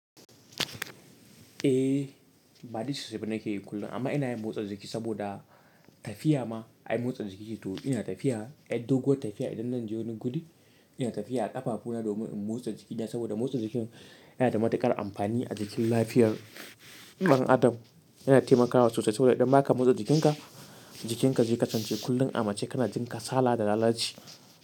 Eh, ba dice sosai ba nake yin kullum amma ina yin motsa jiki saboda tafiya ma ai motsa jiki ce. To ina tafiya, yar doguwa tafiya idan zan je wani guri, ina tafiya a ƙafafu na domin in motsa jikina saboda motsa jiki yana da matuƙar amfani a jikin lafiyar ɗan adam. Yana taimakawa sosai saboda idan baka motsa jikinka, jikinka zai kasance kullum amma sai kana jin kasala da lalaci.